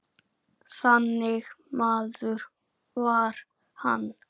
Þannig maður var hann.